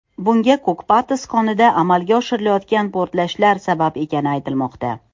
Bunga Ko‘kpatas konida amalga oshirilayotgan portlashlar sabab ekani aytilmoqda.